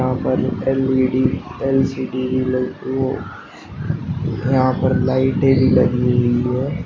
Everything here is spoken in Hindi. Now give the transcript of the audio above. यहां पर एल_इ_डी एल_सी_डी यहां पर लाइटें भी लगी हुई है।